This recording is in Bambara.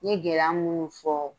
Ɲe gɛlɛya munnu fɔ